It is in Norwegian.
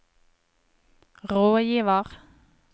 rådgiver